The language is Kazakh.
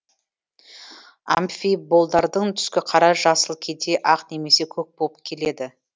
амфиболдардың түскі қара жасыл кейде ақ немесе көк болып келеді